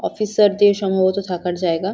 Officer দের সম্ভবত থাকার জায়গা।